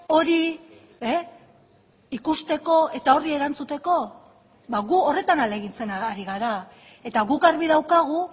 hori ikusteko eta horri erantzuteko ba gu horretan ahalegintzen ari gara eta guk argi daukagu